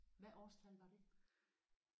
Hvad årstal var det?